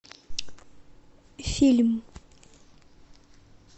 фильм